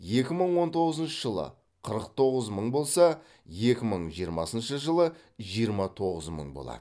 екі мың он тоғызыншы жылы қырық тоғыз мың болса екі мың жиырмасыншы жылы жиырма тоғыз мың болады